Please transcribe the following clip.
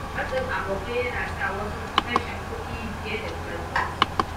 Matsin abokai yana sa wasu su kashe kuɗi fiye da ƙarfinsu.